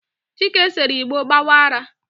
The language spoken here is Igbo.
chike sere igbo gbawa ara